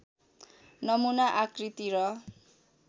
नमुना आकृति र